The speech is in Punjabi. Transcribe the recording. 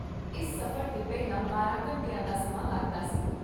ਇਸ ਸਫ਼ਰ 'ਤੇ ਪਹਿਲਾਂ ਬਾਰਾਂ ਘੰਟਿਆਂ ਦਾ ਸਮਾਂ ਲੱਗਦਾ ਸੀ।